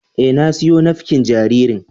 E, na siyo nafƙin jaririn.